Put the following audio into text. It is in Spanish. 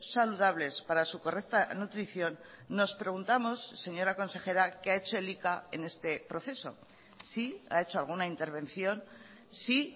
saludables para su correcta nutrición nos preguntamos señora consejera qué ha hecho elika en este proceso si ha hecho alguna intervención si